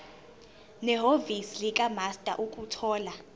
nehhovisi likamaster ukuthola